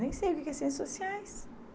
Nem sei o que que é Ciências Sociais.